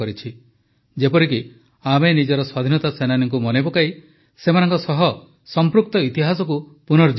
ଯେପରିକି ଆମେ ନିଜର ସ୍ୱାଧୀନତା ସେନାନୀଙ୍କୁ ମନେପକାଇ ସେମାନଙ୍କ ସହ ସଂପୃକ୍ତ ଇତିହାସକୁ ପୁନର୍ଜୀବିତ କରିବା